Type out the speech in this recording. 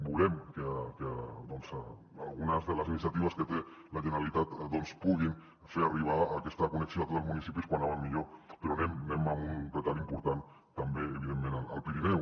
volem que algunes de les iniciatives que té la generalitat doncs puguin fer arribar aquesta connexió a tots els municipis com més aviat millor però anem amb un retard important també evidentment al pirineu